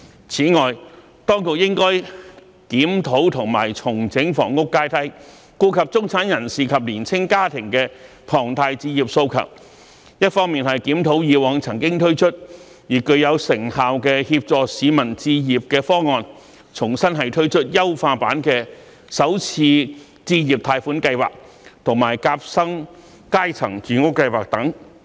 此外，當局應該檢討及重整房屋階梯，顧及中產人士及年青家庭的龐大置業訴求，一方面檢討以往曾經推出而具有成效的協助市民置業的方案，重新推出優化版的首次置業貸款計劃及夾心階層住屋計劃等。